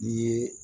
N'i ye